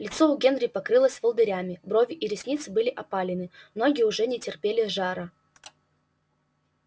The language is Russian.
лицо у генри покрылось волдырями брови и ресницы были опалены ноги уже не терпели жара